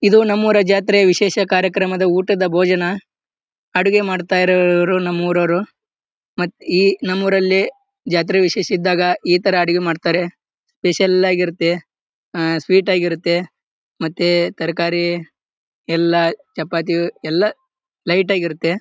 ಇದು ನಮ್ಮೂರ್ ಜಾತ್ರೆ ವಿಶೇಷ ಕಾರ್ಯಕ್ರಮದ ಊಟದ ಭೋಜನ ಅಡಿಗೆ ಮಾಡತ್ತಿರೋರು ನಮ್ಮ ಉರವ್ರು ಮತ್ತ್ ಈ ನಮ್ಮ ಊರಲ್ಲಿ ಜಾತ್ರೆ ವಿಶೇಷ ಇದ್ದಾಗ ಈ ತರ ಅಡಿಗೆ ಮಾಡತ್ತರೆ ಸ್ಪೆಷಲ್ ಆಗಿರುತ್ತೆ ಅಹ್ ಸ್ವೀಟ್ ಆಗಿರುತ್ತೆ ಮತ್ತೆ ತರಕಾರಿ ಎಲ್ಲಾ ಚಪಾತಿ ಎಲ್ಲಾ ಲೈಟ್ ಆಗಿರುತ್ತೆ.